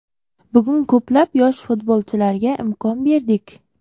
Bugun ko‘plab yosh futbolchilarga imkon berdik.